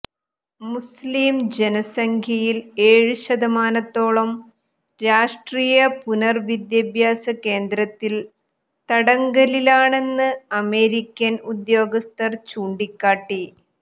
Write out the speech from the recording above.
മുസ് ലിം ജനസംഖ്യയിൽ ഏഴു ശതമാനത്തോളം രാഷ്ട്രീയ പുനർ വിദ്യാഭ്യാസ കേന്ദ്രത്തിൽ തടങ്കലിലാണെന്ന് അമേരിക്കൻ ഉദ്യോഗസ്ഥർ ചൂണ്ടിക്കാട്ടി